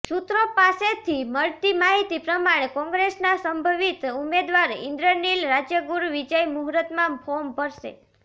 સુત્રો પાસેથી મળતી માહિતી પ્રમાણે કોંગ્રેસના સંભવીત ઉમદેવાર ઇન્દ્રનીલ રાજ્યગુરુ વિજય મુહૂર્તમાં ફોર્મ ભરશે